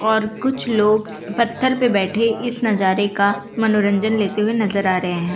और कुछ लोग पत्थर पे बैठे इस नजारे का मनोरंजन लेते हुए नजर आ रहे हैं।